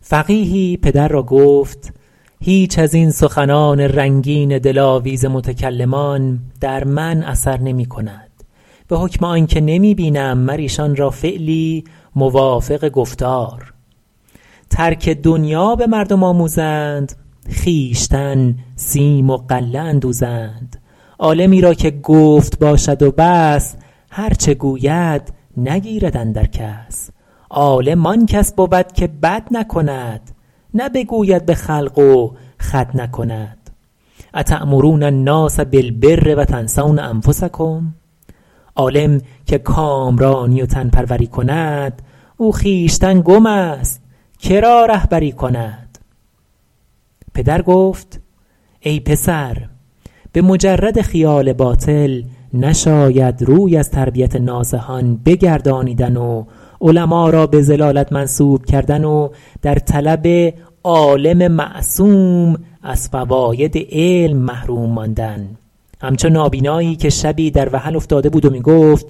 فقیهی پدر را گفت هیچ از این سخنان رنگین دلاویز متکلمان در من اثر نمی کند به حکم آن که نمی بینم مر ایشان را فعلی موافق گفتار ترک دنیا به مردم آموزند خویشتن سیم و غله اندوزند عالمی را که گفت باشد و بس هر چه گوید نگیرد اندر کس عالم آن کس بود که بد نکند نه بگوید به خلق و خود نکند اتأمرون الناس بالبر و تنسون انفسکم عالم که کامرانی و تن پروری کند او خویشتن گم است که را رهبری کند پدر گفت ای پسر به مجرد خیال باطل نشاید روی از تربیت ناصحان بگردانیدن و علما را به ضلالت منسوب کردن و در طلب عالم معصوم از فواید علم محروم ماندن همچو نابینایی که شبی در وحل افتاده بود و می گفت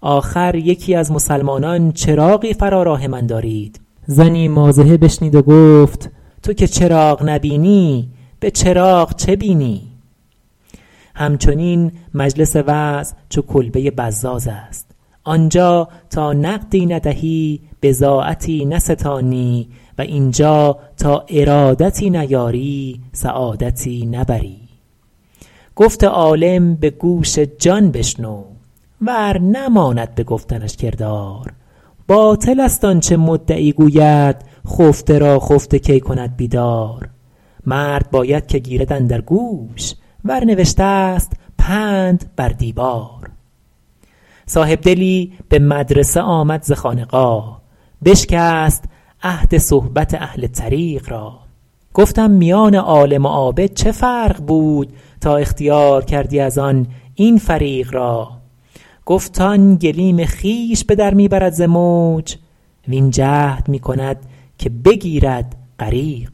آخر یکی از مسلمانان چراغی فرا راه من دارید زنی مازحه بشنید و گفت تو که چراغ نبینی به چراغ چه بینی همچنین مجلس وعظ چو کلبه بزاز است آنجا تا نقدی ندهی بضاعتی نستانی و اینجا تا ارادتی نیاری سعادتی نبری گفت عالم به گوش جان بشنو ور نماند به گفتنش کردار باطل است آنچه مدعی گوید خفته را خفته کی کند بیدار مرد باید که گیرد اندر گوش ور نوشته است پند بر دیوار صاحبدلی به مدرسه آمد ز خانقاه بشکست عهد صحبت اهل طریق را گفتم میان عالم و عابد چه فرق بود تا اختیار کردی از آن این فریق را گفت آن گلیم خویش به در می برد ز موج وین جهد می کند که بگیرد غریق را